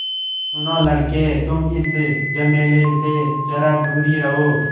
सुनो लड़के तुम इस झमेले से ज़रा दूर ही रहो